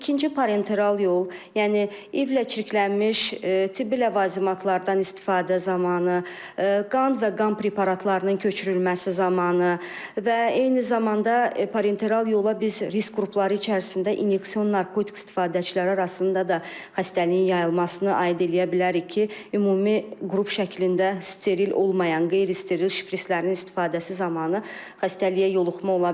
İkinci parenteral yol, yəni İİV-lə çirklənmiş tibbi ləvazimatlardan istifadə zamanı, qan və qan preparatlarının köçürülməsi zamanı, və eyni zamanda parenteral yola biz risk qrupları içərisində inyeksion narkotik istifadəçiləri arasında da xəstəliyin yayılmasını aid eləyə bilərik ki, ümumi qrup şəklində steril olmayan, qeyri-steril şprislərin istifadəsi zamanı xəstəliyə yoluxma ola bilər.